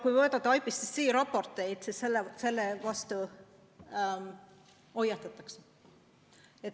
Kui võtta IPCC raportid, siis nendes hoiatatakse puupõldude rajamise eest.